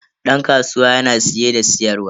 Dan kasuwa yana siye da siyarwa.